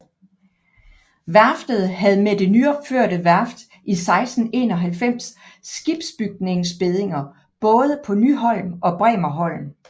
Værftet havde med det nyopførte værft i 1691 skibsbygningsbeddinger både på Nyholm og Bremerholm